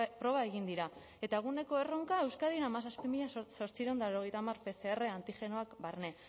proba egin dira eta eguneko erronka euskadin hamazazpi mila zortziehun eta laurogeita hamar pcr antigenoak barne